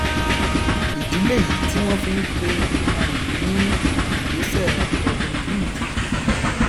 ìdí lèyí tí wọn fi n pe òkúta yìí ní ìgbésẹ robin hood